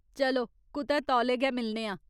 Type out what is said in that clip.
चलो कुतै तौले गै मिलने आं।